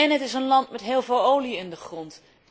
Het is ook een land met heel veel olie in de grond.